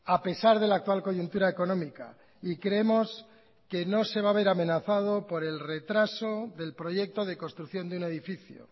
a pesar de la actual coyuntura económica y creemos que no se va haber amenazado por el retraso del proyecto de construcción de un edificio